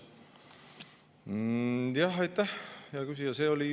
Jah, aitäh, hea küsija!